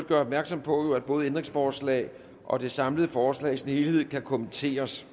gøre opmærksom på at både ændringsforslag og det samlede forslag i sin helhed kan kommenteres